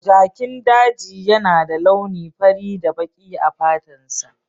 Jakin daji yana da launi fari da baki a fatansa.